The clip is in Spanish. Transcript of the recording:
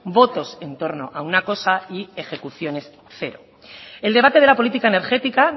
votos en torno a una cosa y ejecuciones cero el debate de la política energética